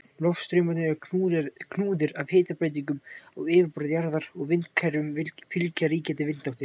Loftstraumarnir eru knúðir af hitabreytingum á yfirborði jarðar og vindakerfum fylgja ríkjandi vindáttir.